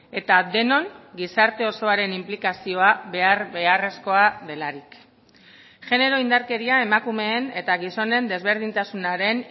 eta denon gizarte osoaren inplikazioa behar beharrezkoa delarik genero indarkeria emakumeen eta gizonen desberdintasunaren